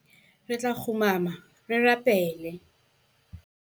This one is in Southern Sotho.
Re tla kgumama re rapele.